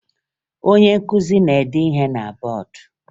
Onye nkụzi na-ede ihe na bọọdụ